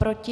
Proti?